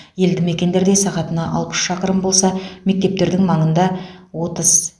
елді мекендерде сағатына алпыс шақырым болса мектептердің маңында отыз